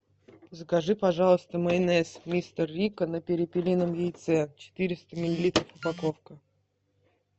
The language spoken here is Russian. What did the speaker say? закажи пожалуйста майонез мистер рикко на перепелином яйце четыреста миллилитров упаковка